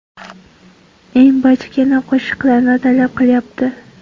Eng bachkana qo‘shiqlarni talab qilyapti.